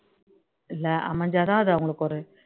இல்ல அமைஞ்சா தான் அது அவங்களுக்கு ஒரு